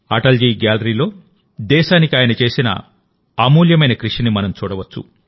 అటల్ జీ గ్యాలరీలోదేశానికి ఆయన చేసిన అమూల్యమైన కృషిని మనం చూడవచ్చు